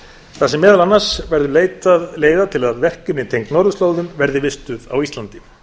þar sem meðal annars verður leitað leiða til að tryggja að verkefni tengd norðurslóðum verði vistuð á íslandi